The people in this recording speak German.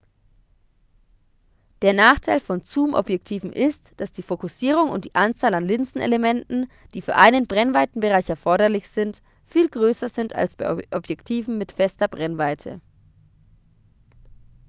der nachteil von zoomobjektiven ist dass die fokussierung und die anzahl an linsenelementen die für einen brennweitenbereich erforderlich sind viel größer sind als bei objektiven mit fester brennweite